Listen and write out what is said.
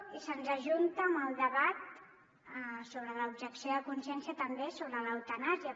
i se’ns ajunta amb el debat sobre l’objecció de consciència també sobre l’eutanàsia